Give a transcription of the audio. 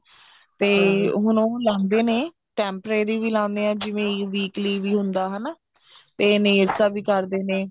ਤੇ ਹੁਣ ਉਹ ਲਾਂਦੇ ਨੇ temporary ਵੀ ਲਾਉਂਦੇ ਨੇ ਜਿਵੇਂ weekly ਵੀ ਹੁੰਦਾ ਹਨਾ ਤੇ nails ਦਾ ਵੀ ਕਰਦੇ ਨੇ